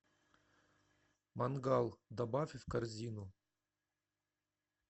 мангал добавь в корзину